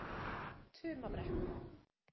Tumabrekku